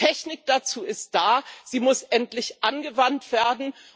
Die Technik dazu ist da, sie muss endlich angewandt werden.